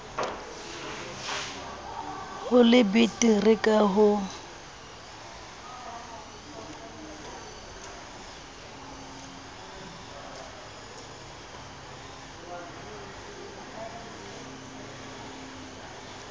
ho le betere ka ho